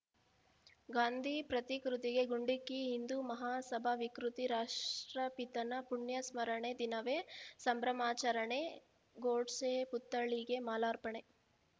ಗಾಂಧಿ ಪ್ರತಿಕೃತಿಗೆ ಗುಂಡಿಕ್ಕಿ ಹಿಂದೂ ಮಹಾಸಭಾ ವಿಕೃತಿ ರಾಷ್ಟ್ರಪಿತನ ಪುಣ್ಯ ಸ್ಮರಣೆ ದಿನವೇ ಸಂಭ್ರಮಾಚರಣೆ ಗೋಡ್ಸೆ ಪುತ್ಥಳಿಗೆ ಮಾಲಾರ್ಪಣೆ